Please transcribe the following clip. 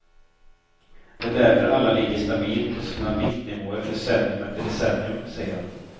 Det är därför alla ligger stabilt på sina viktnivåer decennium efter decennium, säger han.